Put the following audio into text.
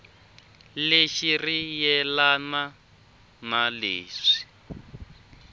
lexi ri yelana na leswi